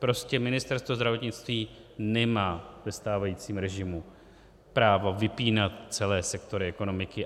Prostě Ministerstvo zdravotnictví nemá ve stávajícím režimu právo vypínat celé sektory ekonomiky.